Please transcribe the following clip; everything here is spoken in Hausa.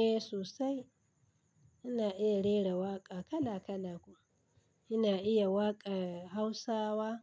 Eh sosai. Ina iya rera waƙa kala kala kuma. Ina iya waƙar Hausawa,